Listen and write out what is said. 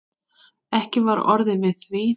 Ekki var orðið við því.